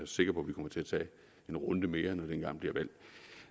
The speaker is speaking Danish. sikker på vi kommer til at tage en runde mere om engang bliver valg